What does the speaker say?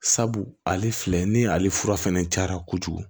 Sabu ale filɛ ni ale fura fɛnɛ cayara kojugu